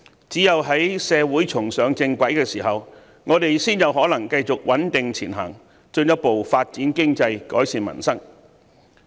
只有在社會重上正軌的時候，我們才有可能繼續穩定前行，進一步發展經濟，改善民生。